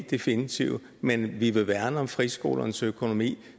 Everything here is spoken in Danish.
definitive men vi vil værne om friskolernes økonomi